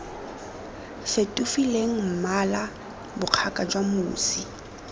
fetofileng mmala bokgaga jwa mosi